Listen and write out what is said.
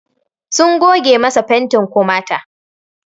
Sun goge masa fantin komata